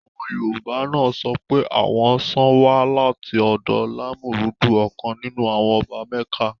Àwọn Yorùbá náà sọ pé àwọn ṣàn wá láti ọ̀dọ̀ Lámúrúdu ọ̀kan nínú àwọn ọba mẹ́kà